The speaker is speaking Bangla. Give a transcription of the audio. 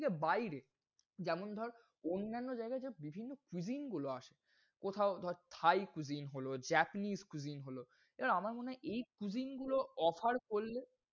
থেকে বাইরে যেমন ধর অন্যান্য জায়গায় যে বিভিন্ন cuisine গুলো আসে কোথাও ধর thai cuisine হল japanese cuisine হল এবার আমার মনে হয় এই cuisine গুলো offer করলে,